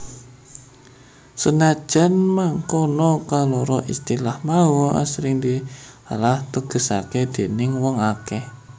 Senadyan mangkono kaloro istilah mau asring disalah tegesaké déning wong akèh